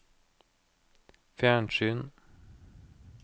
fjernsyn